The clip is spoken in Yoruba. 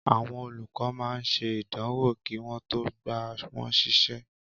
Àwọn olùkọ́ máa ń ṣe ìdánwò kí wọn tó gba wọn ṣiṣẹ́